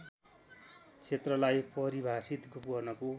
क्षेत्रलाई परिभाषित गर्नको